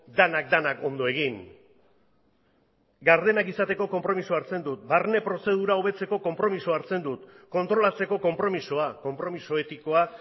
denak denak ondo egin gardenak izateko konpromisoa hartzen dut barne prozedura hobetzeko konpromisoa hartzen dut kontrolatzeko konpromisoa konpromiso etikoa